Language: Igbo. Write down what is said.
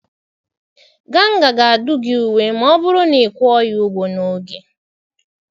Ganga ga-adụ gị uwe ma ọ bụrụ na ị kwụọ ya ụgwọ n'oge.